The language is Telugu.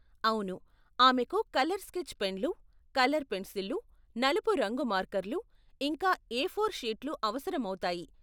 అవును, ఆమెకు కలర్ స్కెచ్ పెన్లు, కలర్ పెన్సిళ్ళు, నలుపు రంగు మార్కర్లు, ఇంకా ఏఫోర్ షీట్లు అవసరం అవుతాయి.